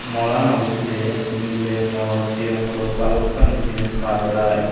mall ano bidire miley morot sigon guro bhalokkani jinich paa jai.